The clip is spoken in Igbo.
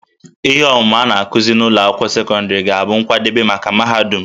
Ihe ọmụmụ a na-akụzi n'ụlọ akwụkwọ sekọndịrị ga-abụ nkwadebe maka mahadum